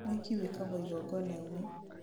ũhiki wĩkagwo igongonainĩ